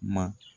Ma